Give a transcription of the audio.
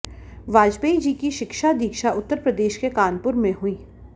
वाजपेयी जी की शिक्षा दीक्षा उत्तरप्रदेश के कानपुर में हुई